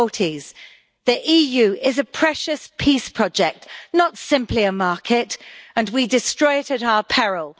and 40s. The EU is a precious peace project not simply a market and we destroy it at our peril.